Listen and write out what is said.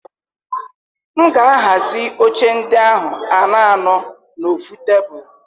M ga-ahazi oche ndị ahụ anọ anọ n'ofu tebụl.